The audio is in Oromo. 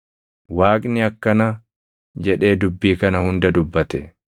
Waaqni akkana jedhee dubbii kana hunda dubbate: